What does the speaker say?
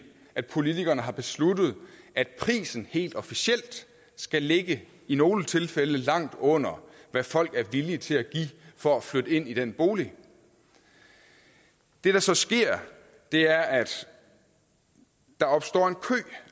at politikerne har besluttet at prisen helt officielt skal ligge i nogle tilfælde langt under hvad folk er villige til at give for at flytte ind i den bolig det der så sker er at der opstår en kø